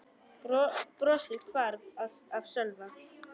Brosið hvarf af Sölva.